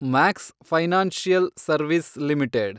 Max financial service limited